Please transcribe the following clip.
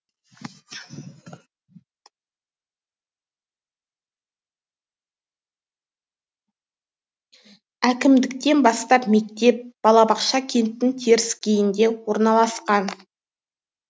әкімдіктен бастап мектеп балабақша кенттің теріскейінде орналасқан